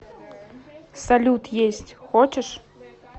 салют есть хочешь